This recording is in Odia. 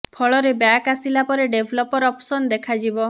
ଫଳରେ ବ୍ୟାକ ଆସିଲା ପରେ ଡେଭଲପର ଅପସନ ଦେଖା ଯିବ